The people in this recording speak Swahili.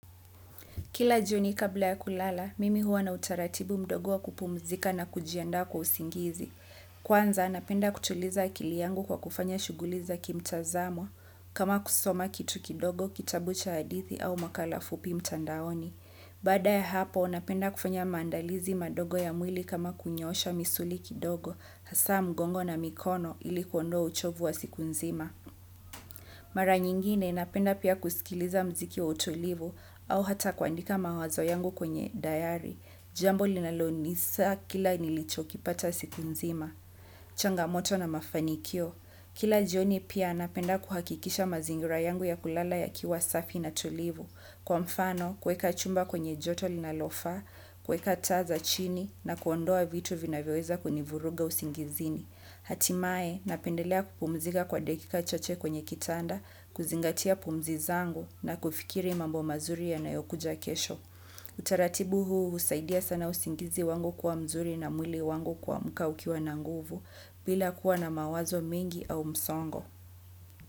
Kila jioni kabla ya kulala, mimi huwa na utaratibu mdogo wa kupmzika na kujianda kwa usingizi. Kwanza, napenda kutuliza akili yangu kwa kufanya shuguli za kimtazamo kama kusoma kitu kidogo, kitabu cha adithi au makala fupi mtandaoni. Bada ya hapo, napenda kufanya mandalizi madogo ya mwili kama kunyosha misuli kidogo, hasa mgongo na mikono ili kuondoa uchovu wa siku nzima. Mara nyingine napenda pia kusikiliza mziki wa utolivu au hata kuandika mawazo yangu kwenye dayari. Jambo linalonisa kila nilicho kipata siku nzima. Changamoto na mafanikio. Kila jioni pia napenda kuhakikisha mazingira yangu ya kulala yakiwasafi na tulivu. Kwa mfano, kuweka chumba kwenye joto linalofa, kuweka taza chini na kuondoa vitu vinavyoweza kunivuruga usingizini. Hatimaye napendelea kupumzika kwa dakika chache kwenye kitanda kuzingatia akili zangu na kufikiria mambo mazuri yanayo kuja kesho utaratibu huu usaidia sana usingizi wangu kuwa mzuri na mwili wangu kuamka ukiwa na nguvu bila kuwa na mawazo mengi au msongo.